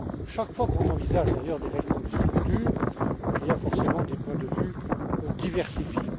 Chaque fois que l'on envisage, d'ailleurs, des réformes de structure, il y a forcément des points de vue diversifiés.